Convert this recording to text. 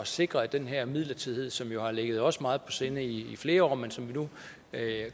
sikre at den her midlertidighed som jo har ligget os meget på sinde i flere år men som vi nu